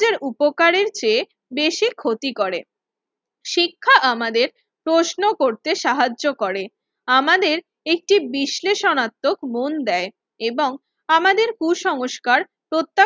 জের উপকারের চেয়ে বেশি ক্ষতি করে। শিক্ষা আমাদের প্রশ্ন করতে সাহায্য করে আমাদের এটি বিশ্লেষণাত্মক মন দেয় এবং আমাদের কুসংস্কার প্রত্যা